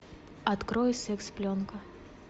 открой секс пленка